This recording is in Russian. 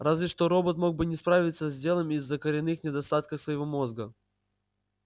разве что робот мог бы не справиться с делом из-за коренных недостатков своего мозга